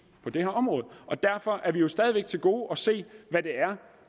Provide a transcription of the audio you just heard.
det her område derfor har vi jo stadig til gode at se hvad